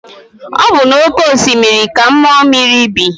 Ọ bụ na oke osimiri ka mmụọ mmiri bi.